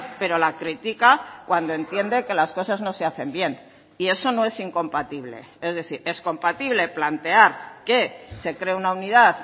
pero la critica cuando entiende que las cosas no se hacen bien y eso no es incompatible es decir es compatible plantear que se cree una unidad